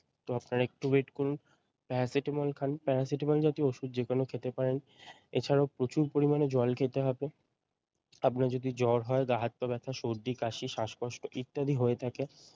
তো আপনারা একটু wait করুন প্যারাসিটামল খান প্যারাসিটামল জাতীয় ওষুধ যেকোনো খেতে পারেন এছাড়াও প্রচুর পরিমানে জল খেতে হবে । আপনার যদি জ্বর গা হাত পা ব্যাথা সর্দি কাশি শ্বাসকষ্ট ইত্যাদি হয়ে থাকে ।